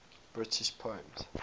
british poems